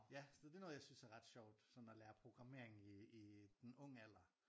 Ja så det noget jeg synes er ret sjovt sådan at lære programmering i i en ung alder